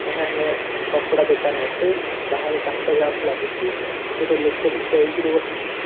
ଏହା ଏକ କପଡା ଦୋକାନ ଅଟେ। ବାହାରେ କାଚ ଗ୍ଲାସ ଲାଗିଛି ଗୋଟେ ଲୋକଟେ ଚୌକି ରେ ବସିଛି।